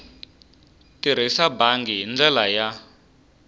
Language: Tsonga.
tirhisa bangi hi ndlela ya